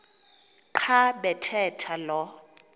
xa bathetha lo